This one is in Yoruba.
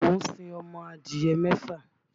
Mo ń sin ọmọ adìyẹ mẹ́fà.